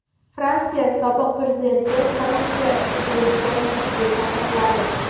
Fransiya sobiq prezidenti korrupsiya ishi bo‘yicha sudga chaqiriladi.